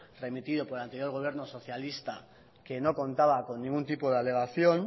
remitido por el anterior gobierno socialista que no contaba con ningún tipo de alegación